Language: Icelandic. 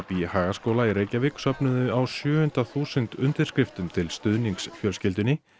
í Hagaskóla í Reykjavík söfnuðu á sjöunda þúsund undirskriftum til stuðnings fjölskyldunni